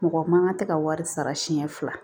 Mɔgɔ man kan tɛ ka wari sara siɲɛ fila